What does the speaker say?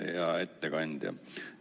Hea ettekandja!